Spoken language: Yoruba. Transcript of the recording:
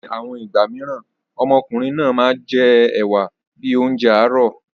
Ní àwọn ìgbà míràn, ọmọkùnrin náà a máa jẹ ẹ̀wa bíi oúnjẹ àárọ̀.